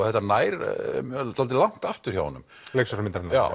þetta nær dálítið langt aftur hjá honum hjá leikstjóra myndarinnar já